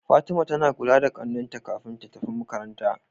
Fatima tAna kula da ƙanin ta kafin ta tafi makaranta